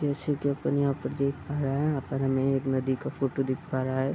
जैसे की अपन यहाँ पर देख पा रहा है यहाँ पर हमें एक नदी का फोटो देख पा रहा है।